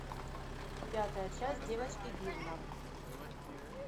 пятая часть девочки гилмор